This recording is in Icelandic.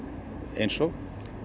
eins og